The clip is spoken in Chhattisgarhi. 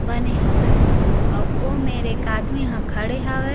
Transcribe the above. बने हावय अऊ ओ मेंर एक आदमी ह खड़े हावय--